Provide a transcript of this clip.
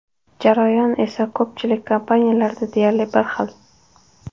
Jarayon esa ko‘pchilik kompaniyalarda deyarli bir xil.